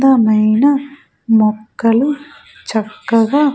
అందమైన మొక్కలు చక్కగా --